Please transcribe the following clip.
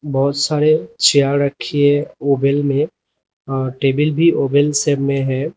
बहोत सारे चेयर रखी हैं ओवेल में टेबल भी ओवल शेप में है।